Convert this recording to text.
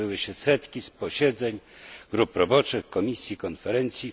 Odbyły się setki posiedzeń grup roboczych, komisji, konferencji.